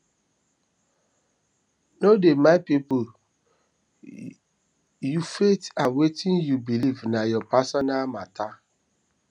no dey mind pipu you faith and wetin you beliv na your personal mata